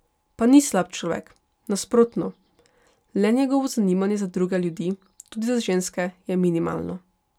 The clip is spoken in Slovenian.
Pa ni slab človek, nasprotno, le njegovo zanimanje za druge ljudi, tudi za ženske, je minimalno.